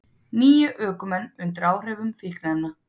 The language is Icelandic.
Níu ökumenn undir áhrifum fíkniefna